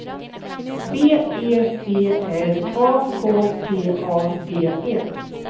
B E T R A K T A D E